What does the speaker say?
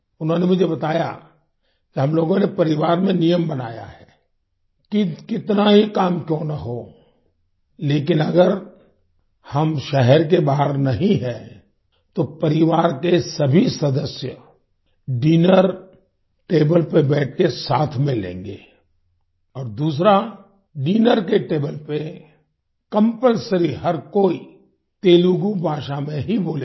उन्होंने मुझे बताया कि हम लोगों ने परिवार में नियम बनाया है कि कितना ही काम क्यों न हो लेकिन अगर हम शहर के बाहर नहीं हैं तो परिवार के सभी सदस्य डिनर टेबल पर बैठकर साथ में लेंगे और दूसरा डिनर की टेबल पर कंपल्सरी हर कोई तेलुगू भाषा में ही बोलेगा